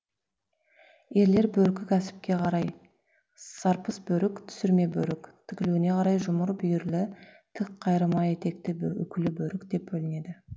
ерлер бөркі кәсіпке қарай сарпыс бөрік түсірме бөрік тігілуіне қарай жұмыр бүйірлі тік қайырма етекті үкілі бөрік деп бөлінеді